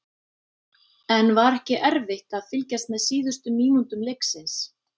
En var ekki erfitt að fylgjast með síðustu mínútum leiksins?